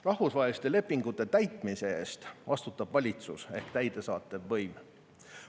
Rahvusvaheliste lepingute täitmise eest vastutab valitsus ehk täidesaatev võim.